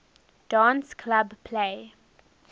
dance club play